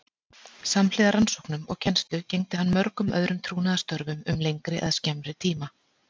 Samhliða rannsóknum og kennslu gegndi hann mörgum öðrum trúnaðarstörfum um lengri eða skemmri tíma.